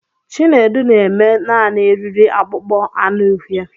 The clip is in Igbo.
Chinedu na-eme Naanị eriri akpụkpọ anụ uhie.